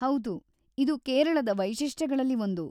ಹೌದು, ಇದು ಕೇರಳದ ವೈಶಿಷ್ಟ್ಯಗಳಲ್ಲಿ ಒಂದು.